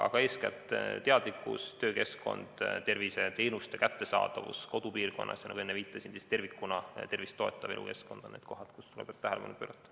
Aga eeskätt teadlikkus, töökeskkond, terviseteenuste kättesaadavus kodupiirkonnas, ja nagu enne viitasin, tervikuna tervist toetav elukeskkond – need on need, millele tuleb tähelepanu pöörata.